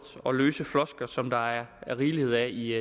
og løse floskler som der er rigeligt af i